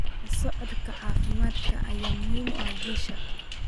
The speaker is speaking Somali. La socodka caafimaadka ayaa muhiim u ah guusha.